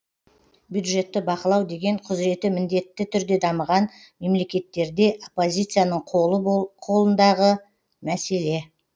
бюджетті бақылау деген құзыреті міндетті түрде дамыған мемлекеттерде оппозицияның қолы қолындағы мәселе